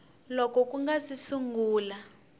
loko ku nga si sungula